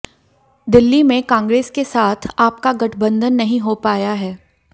दिल्ली में कांग्रेस के साथ आप का गठबंधन नहीं हो पाया है